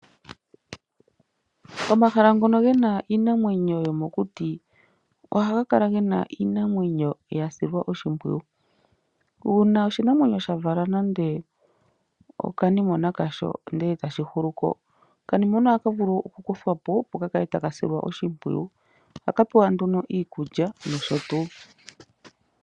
Omahala ngono ge na iinamwenyo yomokuti ohaga kala ge na iinamwenyo ya silwa oshimpwiyu. Uuna oshinamwenyo sha vala nando okanimwena kasho, ndele e tashi si po, okanimwena oha ka vulu okukuthwa po, opo ka kale taka silwa oshimpwiyu. Ohaka pewa nduno iikulya nosho tuu.